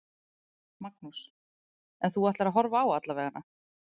Magnús: En þú ætlar að horfa á alla veganna?